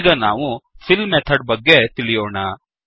ಈಗ ನಾವು fill method ಬಗ್ಗೆ ತಿಳಿಯೋಣ